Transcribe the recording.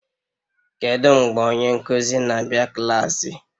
Kedu mgbe onye nkuzi na-abịa klaasị?